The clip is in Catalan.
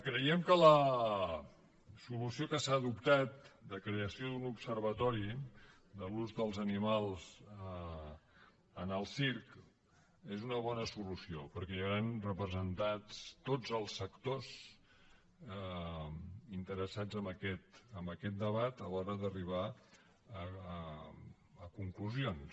creiem que la solució que s’ha adoptat de creació d’un observatori de l’ús dels animals en el circ és una bona solució perquè hi hauran representats tots els sectors interessats en aquest debat a l’hora d’arribar a conclusions